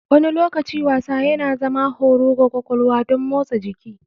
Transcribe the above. Wani lokaci wasa yana zama horo ga kwakwalwa don motsa jiki.